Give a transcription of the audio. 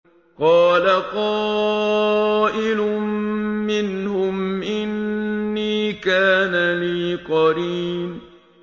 قَالَ قَائِلٌ مِّنْهُمْ إِنِّي كَانَ لِي قَرِينٌ